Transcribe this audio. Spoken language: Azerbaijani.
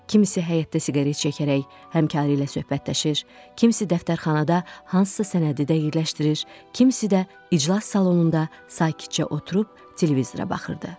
Kimisi həyətdə siqaret çəkərək həmkarı ilə söhbətləşir, kimisi də dəftərxanada hansısa sənədi dəqiqləşdirir, kimisi də iclas salonunda sakitcə oturub televizora baxırdı.